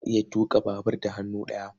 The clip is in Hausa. Za a iya tuƙa babur da hannu ɗaya.